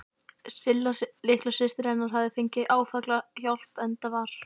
Silla litla systir hennar hafði fengið áfallahjálp, enda var